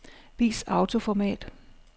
Vis autoformat.